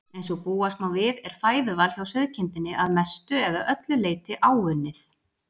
Eins og búast má við er fæðuval hjá sauðkindinni að mestu eða öllu leyti áunnið.